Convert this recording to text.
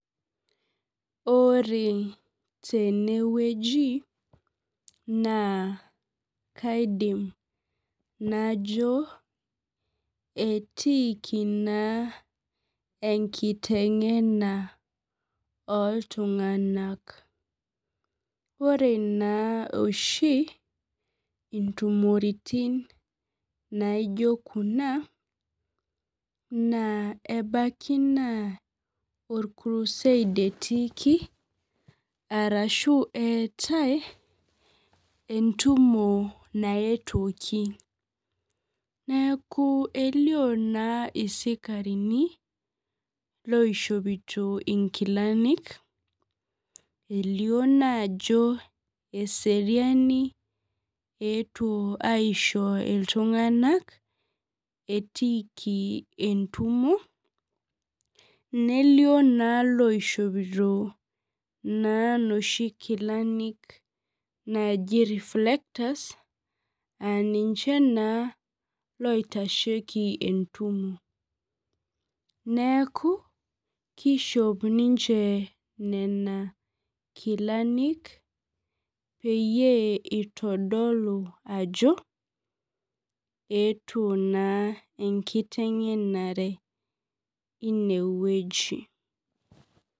Ore tenewueji na kaidim najo etiiki na enkitengena oltunganak ore na oshi intumorotinbnaino kuna ebaki na orkurused etiiki ashu eetae entumo naetuoki neaku elio na sikarini oishopito nkilani elio ajo eseriani aisho ltunganak etiiki entumo nelio na loishopito loshi kilani naji reflectors na ninche oitashieki entumo neaku kishop ninche nona kilani peitodolu ajobeetuo na enkitengenare inewueji.